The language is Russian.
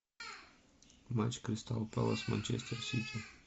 матч кристал пэлас манчестер сити